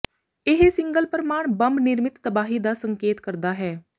ਇਹ ਸਿੰਗਲ ਪ੍ਰਮਾਣੂ ਬੰਬ ਨਿਰਮਿਤ ਤਬਾਹੀ ਦਾ ਸੰਕੇਤ ਕਰਦਾ ਹੈ